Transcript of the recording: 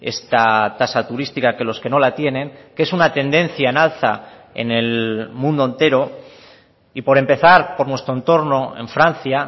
esta tasa turística que los que no la tienen que es una tendencia en alza en el mundo entero y por empezar por nuestro entorno en francia